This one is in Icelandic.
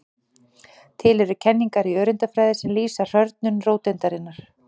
Til eru kenningar í öreindafræði sem lýsa hrörnun róteindarinnar.